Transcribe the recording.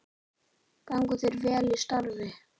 Gangi þér vel í starfi.